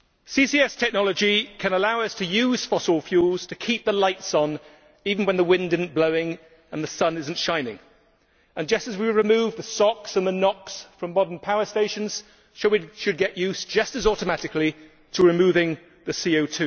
CCS technology can allow us to use fossil fuels to keep the lights on even when the wind is not blowing and the sun is not shining. Just as we remove the SO X and the NO X from modern power stations, we should get used, just as automatically, to removing the CO